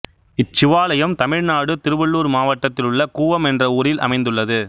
இச்சிவாலயம் தமிழ்நாடு திருவள்ளூர் மாவட்டத்திலுள்ள கூவம் என்ற ஊரில் அமைந்துள்ளது